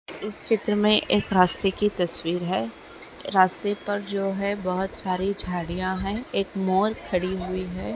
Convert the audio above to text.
इस चित्र में एक रास्ते कि तस्वीर है रास्ते पर जो है बहुत सारी झाडिया है एक मोर खड़ी हुई है।